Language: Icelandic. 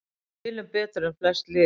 Við spilum betur en flest lið